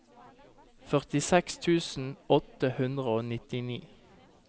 førtiseks tusen åtte hundre og nittini